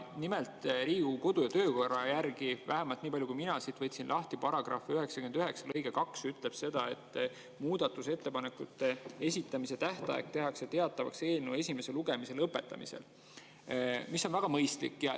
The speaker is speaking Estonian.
Nimelt, Riigikogu kodu‑ ja töökorra – vähemalt nii palju, kui mina siit võtsin lahti –§ 99 lõige 2 ütleb, et muudatusettepanekute esitamise tähtaeg tehakse teatavaks eelnõu esimese lugemise lõpetamisel, mis on väga mõistlik.